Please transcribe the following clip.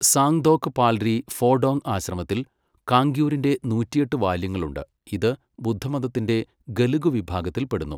San Dhok Palri Phodong ആശ്രമത്തിൽ കാംഗ്യൂരിന്റെ നൂറ്റിയെട്ട് വാല്യങ്ങളുണ്ട്, ഇത് ബുദ്ധമതത്തിന്റെ ഗെലുഗ് വിഭാഗത്തില് പെടുന്നു.